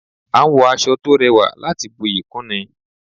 A n wọ aṣọ to rẹwà láti buyi kún ni